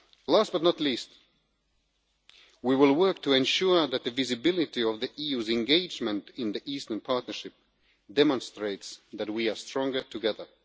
Last but not least, we will work to ensure that the visibility of the EU's engagement in the Eastern Partnership demonstrates that we are stronger together.